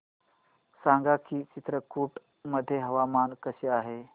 सांगा की चित्रकूट मध्ये हवामान कसे आहे